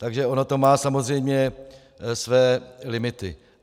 Takže ono to má samozřejmě své limity.